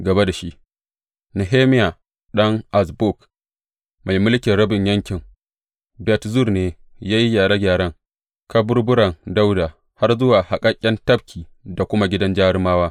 Gaba da shi, Nehemiya ɗan Azbuk, mai mulkin rabin yankin Bet Zur ne ya yi gyare gyaren har zuwa kusa da kaburburan Dawuda, har zuwa haƙaƙƙen tafki da kuma Gidan Jarumawa.